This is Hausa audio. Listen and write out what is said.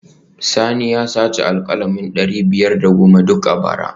Sani ya saci alkalami dari biyar da goma duk a bara